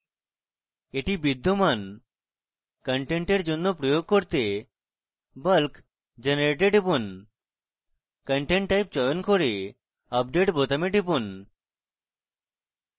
এটি বিদ্যমান content জন্য প্রয়োগ করতে bulk generate ট্যাবে টিপুন content type চয়ন করে update বোতামে টিপুন